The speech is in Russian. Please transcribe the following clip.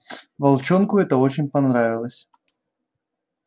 волчонку это очень понравилось